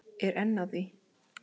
Er enn að því.